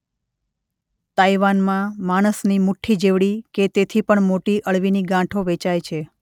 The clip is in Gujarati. તાઈવાનમાં માણસની મુઠ્ઠી જેવડી કે તેથી પણ મોટી અળવીની ગાંઠો વેચાય છે.